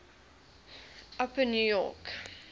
upper new york